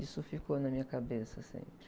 Isso ficou na minha cabeça sempre.